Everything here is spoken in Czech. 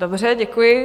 Dobře, děkuji.